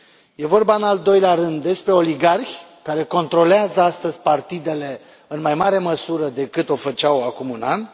E vorba în al doilea rând despre oligarhi care controlează astăzi partidele în mai mare măsură decât o făceau acum un an.